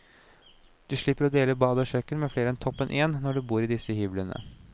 Du slipper å dele bad og kjøkken med flere enn toppen én annen når du bor i disse hyblene.